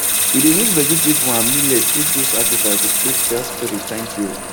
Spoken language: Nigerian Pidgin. we dey use vegetable and millet take do sacrifice to take tell spirits thank you